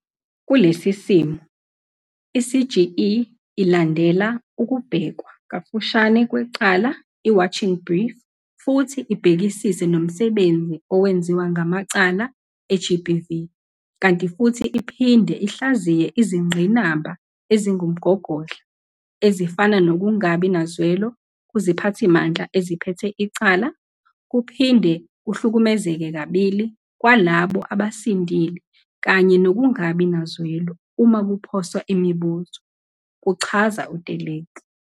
"Kulesi simo, i-CGE ilandela ukubhekwa kafushane kwecala i-Watching Brief futhi ibhekisise nomsebenzi owenziwa ngamacala e-GBV kanti futhi iphinde ihlaziye izingqinamba ezingumgogodla, ezifana nokungabi nazwelo kuziphathimandla eziphethe icala, ukuphinde kuhlukumezeke kabili kwalabo abasindile kanye nokungabi nazwelo uma kuphoswa imibuzo," kuchaza u-Teleki.